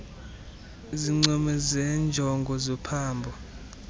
zincomo zenjongo zophambo